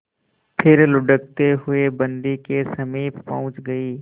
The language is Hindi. फिर लुढ़कते हुए बन्दी के समीप पहुंच गई